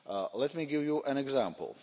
Let me give you an example.